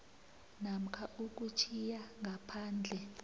namkha ukutjhiya ngaphandle